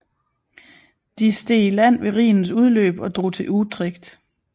De steg i land ved Rhinens udløb og drog til Utrecht